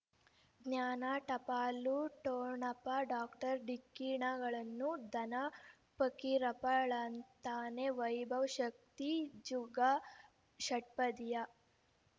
ಜ್ಞಾನ ಟಪಾಲು ಠೊಣಪ ಡಾಕ್ಟರ್ ಢಿಕ್ಕಿ ಣಗಳನು ಧನ ಫಕೀರಪ್ಪ ಳಂತಾನೆ ವೈಭವ್ ಶಕ್ತಿ ಝಗಾ ಷಟ್ಪದಿಯ